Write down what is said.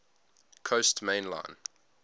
coast main line